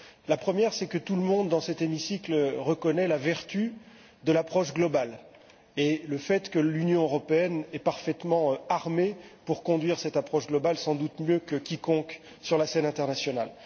La première, c'est que tout le monde, dans cet hémicycle, reconnaît la vertu de l'approche globale et le fait que l'Union européenne est parfaitement armée pour conduire cette approche globale, sans doute mieux que quiconque sur la scène internationale.